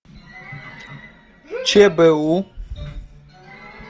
чбу